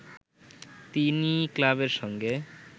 তিনি ক্লাবের সঙ্গে